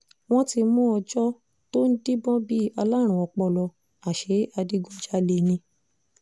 wọ́n ti mú ọjọ́ tó ń díbọ́n bíi aláárùn ọpọlọ àṣẹ adigunjalè ni